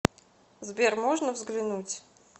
сбер можно взглянуть